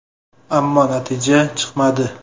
Ammo natija chiqmadi.